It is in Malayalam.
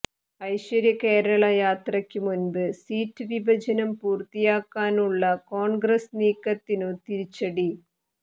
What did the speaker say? ഐശ്വര്യകേരള യാത്രയ്ക്കു മുമ്പ് സീറ്റ് വിഭജനം പൂര്ത്തിയാക്കാനുള്ള കോണ്ഗ്രസ് നീക്കത്തിനു തിരിച്ചടി